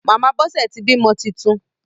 Màmá Bọ́sẹ̀ ti bímọ titun.